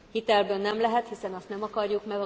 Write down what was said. Hitelből nem lehet, hiszen azt nem akarjuk.